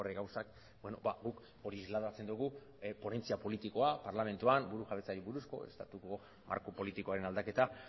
gauzak guk hori isladatzen dugu ponentzia politikoa parlamentuan burujabetzari buruzko estatuko marko politikoaren aldaketa